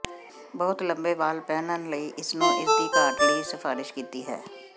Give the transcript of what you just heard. ਬਹੁਤ ਲੰਬੇ ਵਾਲ ਪਹਿਨਣ ਲਈ ਇਸ ਨੂੰ ਇਸ ਦੀ ਘਾਟ ਲਈ ਸਿਫਾਰਸ਼ ਕੀਤੀ ਹੈ